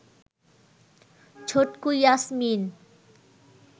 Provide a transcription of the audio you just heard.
Chhotku Yasmin